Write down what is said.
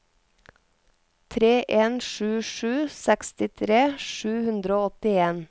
tre en sju sju sekstitre sju hundre og åttien